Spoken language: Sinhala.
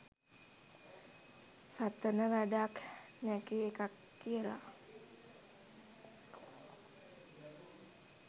සතන වැඩක් නැකි එකක් කියලා.